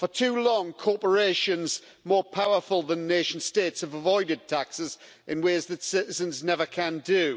For too long, corporations more powerful than nation states have avoided taxes in ways that citizens never can do.